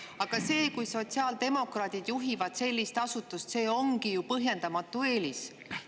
" Aga see, kui sotsiaaldemokraadid juhivad sellist asutust, ongi ju põhjendamatu eelis.